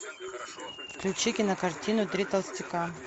включи кинокартину три толстяка